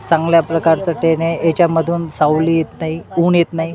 चांगल्या प्रकारचं टेन हे याच्यामधून सावली येत नाही ऊन येत नाही.